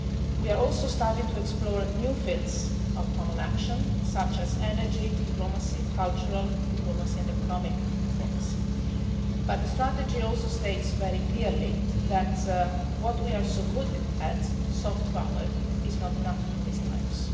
We are also starting to explore new fields of common action, such as energy, diplomacy, cultural diplomacy and economic diplomacy, but the strategy also states very clearly that what we are so good at, soft power, is not enough in these times.